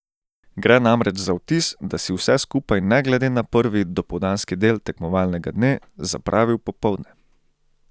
Gre namreč za vtis, da si vse skupaj ne glede na prvi, dopoldanski del tekmovalnega dne, zapravil popoldne.